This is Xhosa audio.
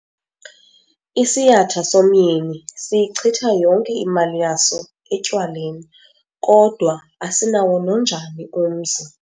Isiyatha somyeni siyichitha yonke imali yaso etywaleni kodwa asinawo nonjani umzi.